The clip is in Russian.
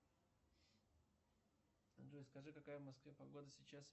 джой скажи какая в москве погода сейчас